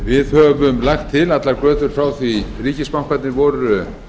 við höfum lagt til allar götur frá því að ríkisbankarnir voru